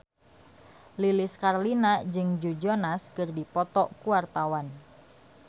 Lilis Karlina jeung Joe Jonas keur dipoto ku wartawan